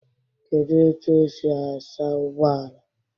Kedụ etu esi asa ụgbọala?